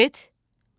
Get,